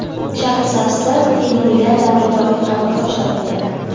Shahrisabzda Temuriylar davriga oid qabrtosh topildi.